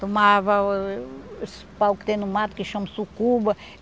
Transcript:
Tomava os pau que tem no mato, que chama sucuba.